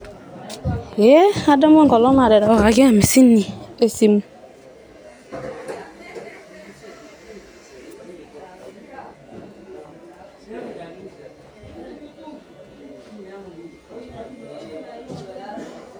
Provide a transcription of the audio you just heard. Ee ,adamu enkolong naterewakaki hamsini esimu